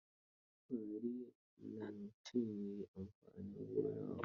Faari nancinye amfanin gona a Osun.